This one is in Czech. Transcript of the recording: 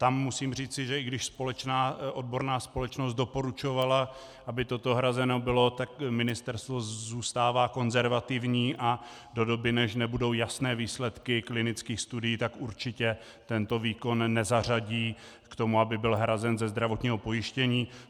Tam musím říci, že i když odborná společnost doporučovala, aby toto hrazeno bylo, tak ministerstvo zůstává konzervativní a do doby, než budou jasné výsledky klinických studií, tak určitě tento výkon nezařadí k tomu, aby byl hrazen ze zdravotního pojištění.